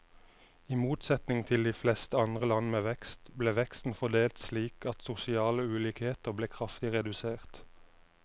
I motsetning til de fleste andre land med vekst, ble veksten fordelt slik at sosiale ulikheter ble kraftig redusert.